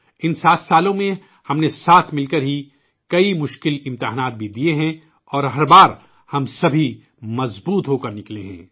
ان 7 سالوں میں ہم نے ساتھ ملکر ہی کئی مشکل آزمائشوں سے بھی گزرے ہیں اور ہر بار ہم سبھی مضبوط ہوکر نکلے ہیں